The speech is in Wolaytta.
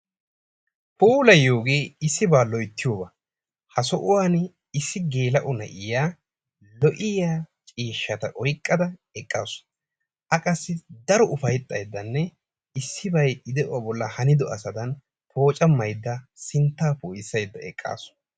Puulaayiyoge issiba loyttiyiyoga. Ha sohuwan issi gelao na'iya lo'iyaa ciishshata oyqqada eqqasu. A qassi daro ufayttaydane issibay i de'uwaa bollan hanido asadan poocamayda sintta poissayda eqqasu.